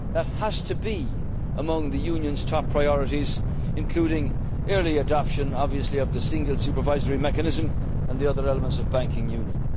a real banking union. That has to be among the Union's top priorities, including early adoption of the single supervisory mechanism and the other elements